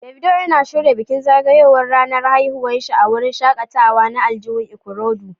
Davido yana shirya bikin zagayowar ranar haihuwa a wurin shakatawa na aljihun Ikorodu